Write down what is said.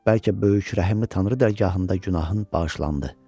Bəlkə böyük rəhmli Tanrı dərgahında günahın bağışlandı.